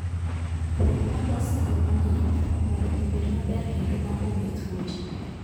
Pong' molos e yo mong'ith mondo obed maber kendo ma onge tuoche.